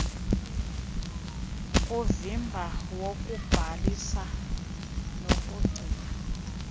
kuvimba wokubhalisa nokugcina